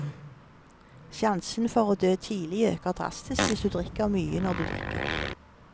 Sjansen for å dø tidlig øker drastisk hvis du drikker mye når du drikker.